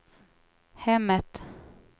hemmet